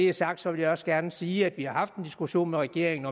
er sagt vil jeg også gerne sige at vi har haft en diskussion med regeringen